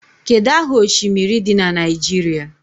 Kedu aha oshimiri dị na Naijiria?